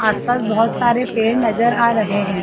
आस-पास बहोत (बहुत) सारे पेड़ नज़र आ रहे है।